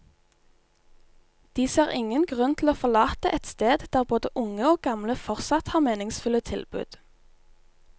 De ser ingen grunn til å forlate et sted der både unge og gamle fortsatt har meningsfulle tilbud.